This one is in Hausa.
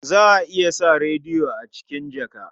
Za a iya sa rediyo a cikin jaka.